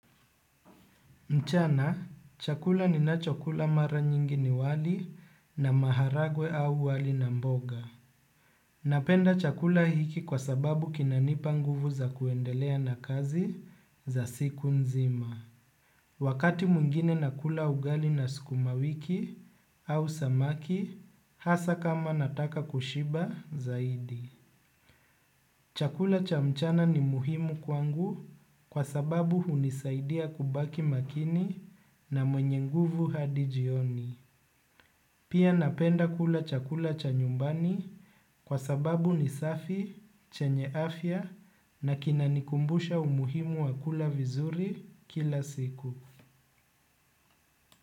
Mchana, chakula ninachokula mara nyingi ni wali na maharagwe au wali na mboga. Napenda chakula hiki kwa sababu kinanipa nguvu za kuendelea na kazi za siku nzima. Wakati mwingine nakula ugali na sukuma wiki na samaki hasa kama nataka kushiba zaidi chakula cha mchana ni muhimu kwangu kwa sababu hunisaidia nibaki makini na mwenye nguvu hadi jioni. Pia napenda kula chakula cha nyumbani kwa sababu ni safi, chenye afya na kinanikumbusha umuhimu wakula vizuri kila siku.